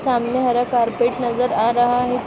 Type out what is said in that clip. सामने हरा कारपेट नजर आ रहा है।